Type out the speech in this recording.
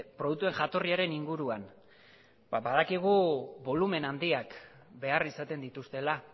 produktuen jatorriaren inguruan badakigu bolumen handiak behar izaten dituztela